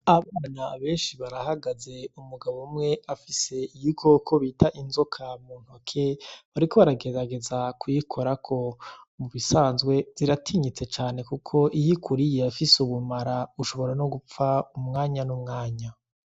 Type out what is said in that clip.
Abana benshi barahagaze, umugabo umwe afise igikoko bita inzoka muntoke bariko baragerageza kuyikorako mubisanzwe ziratinyitse cane kuko iyo ikuriye irafise ubumara ushobora nogupfa mumwanya numamwanya.